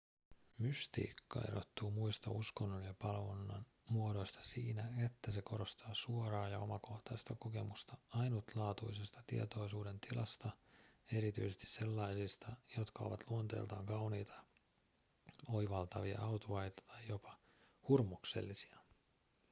mystiikka erottuu muista uskonnon ja palvonnan muodoista siinä että se korostaa suoraa ja omakohtaista kokemusta ainutlaatuisesta tietoisuudentilasta erityisesti sellaisista jotka ovat luonteeltaan kauniita oivaltavia autuaita tai jopa hurmoksellisia